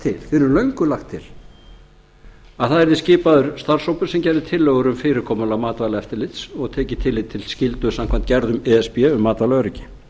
til að það yrði skipaður starfshópur sem gerði tillögur um fyrirkomulag matvælaeftirlits og tekið tillit til skyldu samkvæmt gerðum e s b um matvælaöryggi